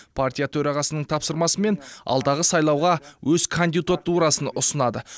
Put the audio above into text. партия төрағасының тапсырмасымен алдағы сайлауға өз кандидатурасын ұсынады